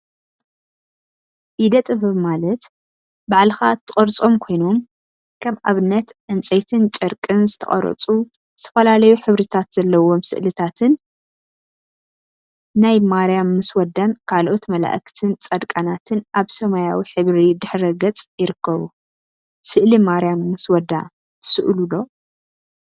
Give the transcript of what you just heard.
ኢደ- ጥበብ ኢደ-ጥበብ ማለት ባዕልካ እትቀርፆም ኮይኖም፤ ከም አብነት አብ ፅንፀይቲን ጨርቂን ዝተቀረፁ ዝተፈላለዩ ሕብሪታት ዘለዎም ስእሊታትን ናይ ማርያም ምስ ወዳን ካልኦት መላእክትን ፃድቃናትን አብ ሰማያዊ ሕብሪ ድሕረ ገፅ ይርከቡ፡፡ ስእሊ ማርያም ምስ ወዳ ትስእሉ ዶ?